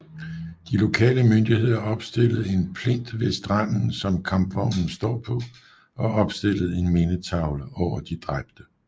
De lokale myndigheder opstillede en plint ved stranden som kampvognen står på og opstillede en mindetavle over de dræbte